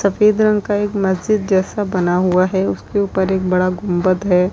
सफेद रंग का एक मस्जिद जैसा बना हुआ है उसके ऊपर एक बड़ा गुंबद है।